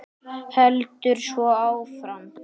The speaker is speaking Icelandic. Heldur svo áfram: